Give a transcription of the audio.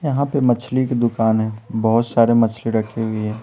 यहाँ पे मछली की दुकान है बहुत सारे मछली रखी हुई है।